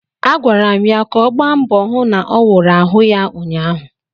Agwara m ya ka ọ gba mbọ hụ n'ọwụrụ ahụ ya ụnyaahụ!